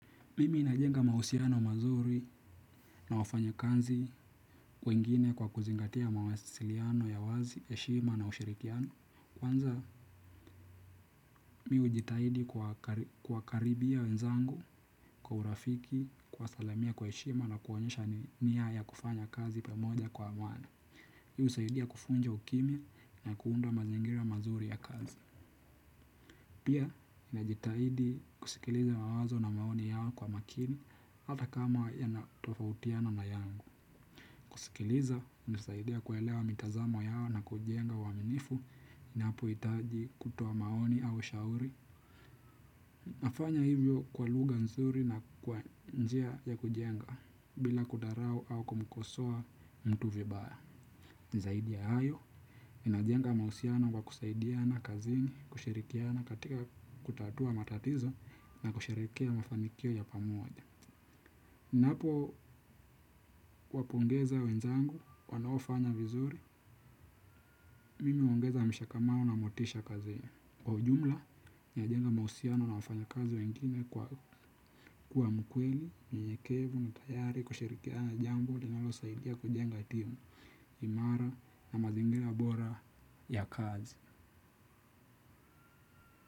Mimi najenga mahusiano mazuri na wafanyakazi wengine kwa kuzingatia mawasiliano ya wazi, heshima na ushirikiano. Kwanza, mi hujitahidi kuwakaribia wenzangu, kwa urafiki, kuwasalamia kwa heshima na kuonyesha nia ya kufanya kazi pamoja kwa amani. Hii husaidia kuvunja ukimya na kuunda mazingira mazuri ya kazi. Pia, najitahidi kusikiliza mawazo na maoni yao kwa makini, hata kama yanatofautiana na yangu. Kusikiliza, hunisaidia kuelewa mitazamo yao na kujenga uaminifu inapohitaji kutoa maoni au shauri. Nafanya hivyo kwa lugha nzuri na kwa njia ya kujenga, bila kudharau au kumkosoa mtu vibaya. Zaidi ya hayo, ninajenga mahusiano kwa kusaidiana kazini, kushirikiana katika kutatua matatizo na kusherehekea mafanikio ya pamoja. Napo, wapongeza wenzangu, wanaofanya vizuri, mimi huongeza mshikamano na motisha kazini. Kwa ujumla, najenga mahusiano na wafanyakazi wengine kwa kuwa mkweli, nyenyekevu, na tayari, kushirikia na jambo, linalosaidia kujenga timu, imara na mazingira bora ya kazi.